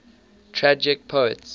tragic poets